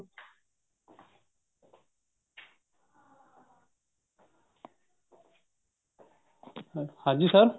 ਹਾਂਜੀ sir